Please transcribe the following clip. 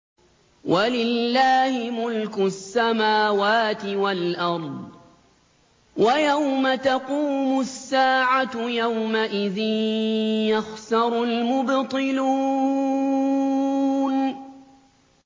وَلِلَّهِ مُلْكُ السَّمَاوَاتِ وَالْأَرْضِ ۚ وَيَوْمَ تَقُومُ السَّاعَةُ يَوْمَئِذٍ يَخْسَرُ الْمُبْطِلُونَ